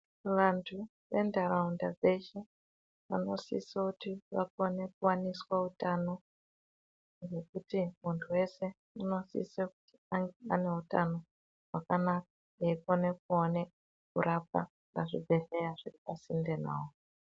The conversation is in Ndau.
Vantu ventaraunda dzeshe vanosisa kuti vakone kuwaniswa utano ngekuti muntu weshe unosisa kuti ange ane utano hwakanaka eyikona kuone kurapwa kuzvibhehleya zviri pasinde naye.